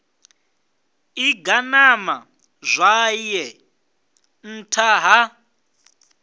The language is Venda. ḓi ganama zwawe nṱtha ha